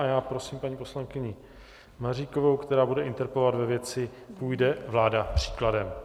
A já prosím paní poslankyni Maříkovou, která bude interpelovat ve věci - půjde vláda příkladem?